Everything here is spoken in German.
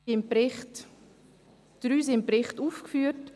– Drei sind im Bericht aufgeführt.